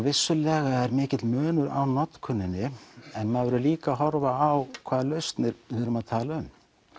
vissulega er mikill munur á notkuninni en maður verður líka að horfa á hvaða lausnir við erum að tala um